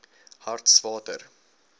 hartswater